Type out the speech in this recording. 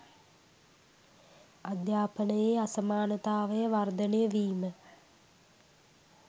අධ්‍යාපනයේ අසමානතාවය වර්ධනය වීම